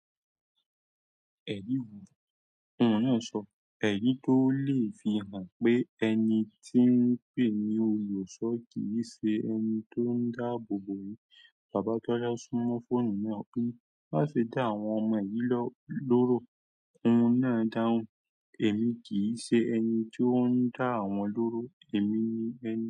Ẹ̀mí wo? Òun náà sọ, ẹ̀mí tó lè fi hàn pé ẹni tí ń pè ní olusọ́ kì í ṣe ẹni tó ń dáàbò bò yín. Bàbá Tọ́lá súmọ́ fóònù náà pé, má ṣe dá àwọn ọmọ yìí lọ lọ́rò. Òun náà dáhùn, èmi kì í ṣe ẹni tí ó ń dá wọn lọ́rò, èmi ni ẹni.